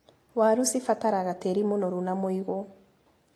Waru cibataraga tĩri mũnoru na mũigũ.